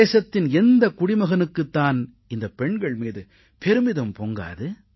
தேசத்தின் எந்தக் குடிமகனுக்குத் தான் இந்தப் பெண்கள் மீது பெருமிதம் பொங்காது